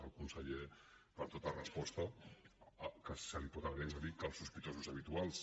el conseller per tota resposta que se li pot agrair ens va dir que els sospitosos habituals